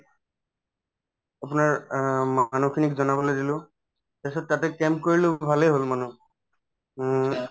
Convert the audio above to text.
আপোনাৰ অ মানুহখিনিক জনাবলৈ দিলো তাৰপিছত তাতে camp কৰিলো ভালে হল মানুহ অ